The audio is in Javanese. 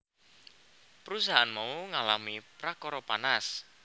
Perusahaan mau ngalami prakara panas